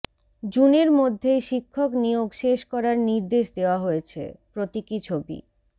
জুনের মধ্যেই শিক্ষক নিয়োগ শেষ করার নির্দেশ দেওয়া হয়েছে প্রতীকী ছবি